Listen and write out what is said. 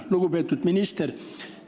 Lugupeetud minister!